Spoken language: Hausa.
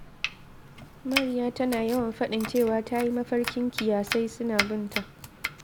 Mariya tana yawan faɗin cewa ta yi mafarkin kiyasai suna bin ta